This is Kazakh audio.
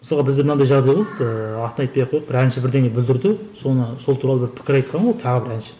мысалға бізде мынандай жағдай болды ыыы атын айтпай ақ қояйық бір әнші бірдеңе бүлдірді соны сол туралы бір пікір айтқан ғой тағы бір әнші